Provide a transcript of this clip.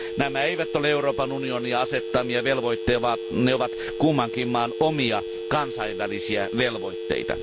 Nämä eivät ole Euroopan unionin asettamia velvoitteita, vaan ne ovat kummankin maan omia kansainvälisiä velvoitteita.